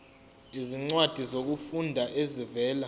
izincwadi zokufunda ezivela